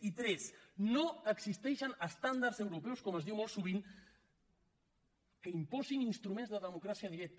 i tres no existeixen estàndards europeus com es diu molt sovint que imposin instruments de democràcia directa